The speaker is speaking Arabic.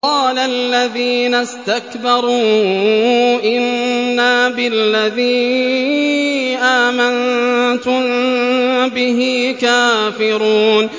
قَالَ الَّذِينَ اسْتَكْبَرُوا إِنَّا بِالَّذِي آمَنتُم بِهِ كَافِرُونَ